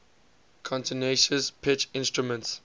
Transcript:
continuous pitch instruments